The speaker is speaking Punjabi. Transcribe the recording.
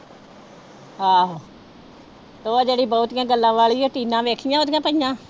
ਆਹੋ ਉਹ ਜਿਹੜੀ ਬਹੁਤੀ ਗੱਲਾਂ ਵਾਲੀ ਹੈ ਟੀਨਾ ਵੇਖੀਆਂ ਉਹਦੀਆਂ